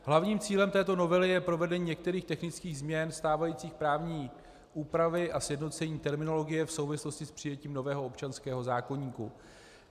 Hlavním cílem této novely je provedení některých technických změn stávající právní úpravy a sjednocení terminologie v souvislosti s přijetím nového občanského zákoníku.